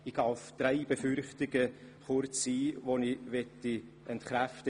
Drei konkrete Befürchtungen möchte ich nun entkräften.